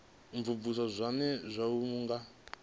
imvumvusa zwone zwo uuwedzwa nga